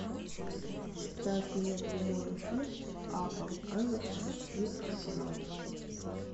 ставь мне прямой эфир апл эвертон и арсенал